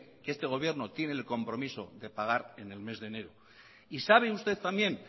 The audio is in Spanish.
que este gobierno tiene el compromiso de pagar en el mes de enero y sabe usted también